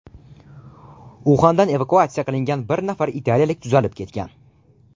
Uxandan evakuatsiya qilingan bir nafar italiyalik tuzalib ketgan.